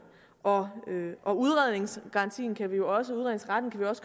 og og udredningsretten kan vi jo også